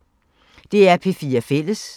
DR P4 Fælles